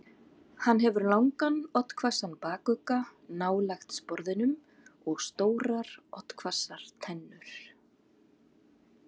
Hann hefur langan, oddhvassan bakugga nálægt sporðinum og stórar oddhvassar tennur.